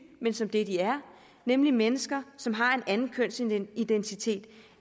men som det de er nemlig mennesker som har en anden kønsidentitet